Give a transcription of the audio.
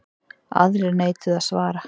Aðrir neituðu að svara.